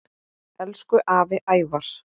Elsku afi Ævar.